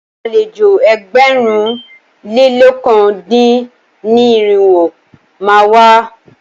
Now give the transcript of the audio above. Àlejò ẹgbẹ̀rún lé lọ̀kan dín ní irinwó má a wá.